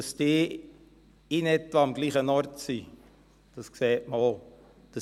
Dass die in etwa am selben Ort sind, sieht man auch.